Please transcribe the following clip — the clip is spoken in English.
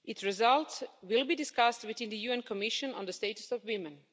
It's results will be discussed within the UN Commission on the Status of Women.